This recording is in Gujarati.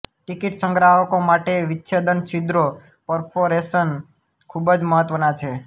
ટિકિટ સંગ્રાહકો માટે વિચ્છેદન છિદ્રો પરફોરેશન ખૂબ જ મહત્વનાં છે